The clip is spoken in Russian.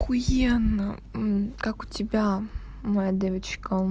ахуенно как у тебя моя девочка